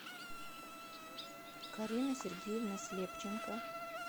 карина сергеевна слепченко